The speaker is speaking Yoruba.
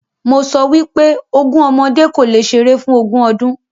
Mo sọ wípé “ogún ọmọdé kò lè ṣeré fún ogún ọdún.”